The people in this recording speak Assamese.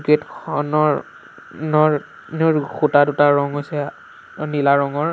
গেট খনৰ নৰ খুঁটা দুটাৰ ৰং হৈছে নীলা ৰঙৰ।